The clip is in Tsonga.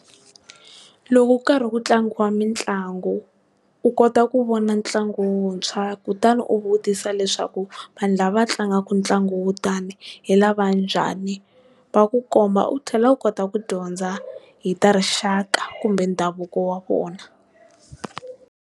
Loko ku karhi ku tlangiwa mitlangu, u kota ku vona ntlangu wuntshwa kutani u vutisa leswaku vanhu lava tlangaka ntlangu wo tani hi lava njhani va ku komba, u tlhela u kota ku dyondza hi ta rixaka kumbe ndhavuko wa vona.